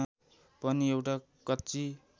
पनि एउटा कच्ची